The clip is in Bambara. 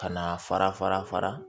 Ka na fara fara